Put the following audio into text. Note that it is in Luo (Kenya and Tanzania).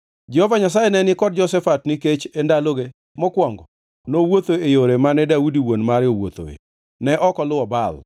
Jehova Nyasaye ne ni kod Jehoshafat nikech e ndaloge mokwongo nowuotho e yore mane Daudi wuon mare owuothoe. Ne ok oluwo Baal